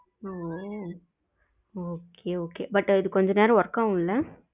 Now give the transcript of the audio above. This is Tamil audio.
ஓ okay okay but இது கொஞ்ச நேரம் work ஆகும்ல